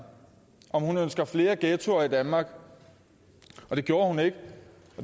om hun ønskede flere ghettoer i danmark og det gjorde hun ikke